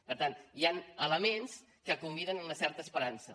per tant hi han elements que conviden a una certa esperança